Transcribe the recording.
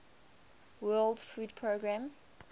world food programme